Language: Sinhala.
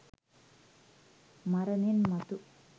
මරණෙන් මතු